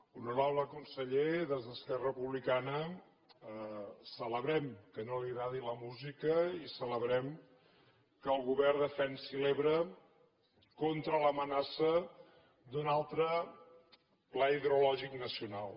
honorable conseller des d’esquerra republicana celebrem que no li agradi la música i celebrem que el govern defensi l’ebre contra l’amenaça d’un altre pla hidrològic nacional